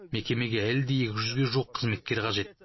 мекемеге әлі де екі жүзге жуық қызметкер қажет